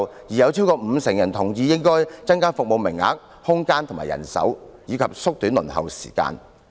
有超過五成受訪者同意應該增加服務名額、空間和人手，以及縮短輪候時間。